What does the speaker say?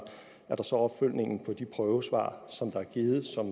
er der så opfølgningen på de prøvesvar som er givet som